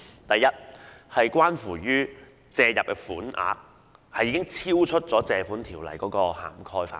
第一，借入的款額已超出《條例》的涵蓋範圍。